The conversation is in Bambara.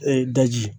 Ee daji